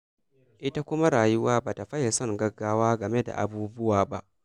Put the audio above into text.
Ita kuma rayuwa ba ta faye son gaggawa game da abubuwa ba.